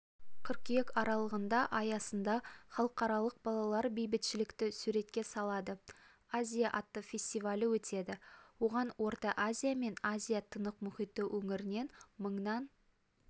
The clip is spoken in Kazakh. қыркүйек аралығында аясында халықаралық балалар бейбітшілікті суретке салады азия атты фестиваль өтеді оған орта азия мен азия тынық мұхиты өңірінен мыңнан